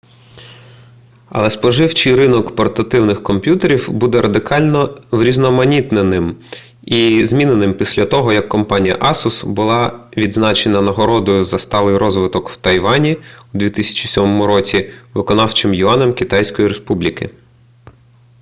але споживчий ринок портативних комп'ютерів буде радикально врізноманітненим і зміненим після того як компанія асус була відзначена нагородою за сталий розвиток в тайвані у 2007 році виконавчим юанем китайської республіки